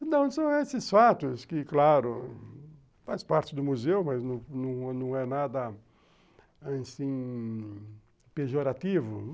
Então são esses fatos que, claro, fazem parte do museu, mas não é nada assim pejorativo.